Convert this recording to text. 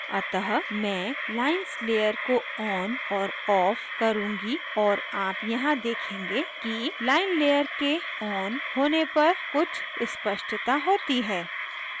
अतः मैं lines layer को on और off करुँगी और आप यहाँ देखेंगे कि lines layer के on होने पर कुछ स्पष्ता होती है